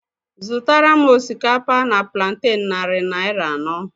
Zụtara m osikapa na planten narị naira anọ